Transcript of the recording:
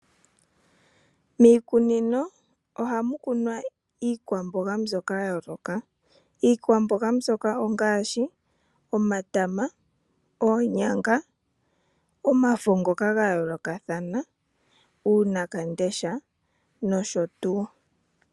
Miikunino ohamu kunwa iikwamboga mbyoka ya yooloka. Iikwamboga mbyoka ongaashi omatama, oonyanga, omafo ngoka ga yoolokathana uunawandesha nosho tuu.